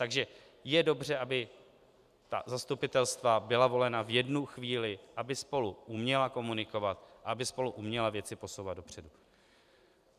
Takže je dobře, aby zastupitelstva byla volena v jednu chvíli, aby spolu uměla komunikovat a aby spolu uměla věci posouvat dopředu.